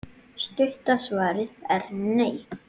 Stutta svarið er: nei.